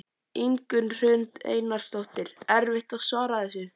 Ingunn Hrund Einarsdóttir: Erfitt að svara þessu?